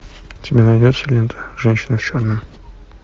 у тебя найдется лента женщина в черном